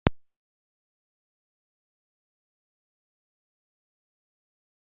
Elín Margrét Böðvarsdóttir: Og hvað á að gera þar?